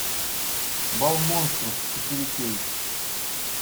бал монстров четыре кей